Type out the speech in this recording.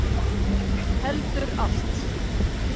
Heldur allt.